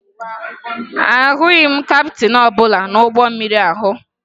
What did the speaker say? Ahụghị m kaptịn ọbụla n'ụgbọ mmiri ahụ